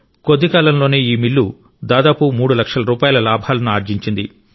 కొద్ది కాలంలోనే ఈ మిల్లు దాదాపు మూడు లక్షల రూపాయల లాభాలను ఆర్జించింది